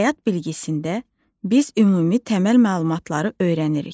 Həyat bilgisində biz ümumi təməl məlumatları öyrənirik.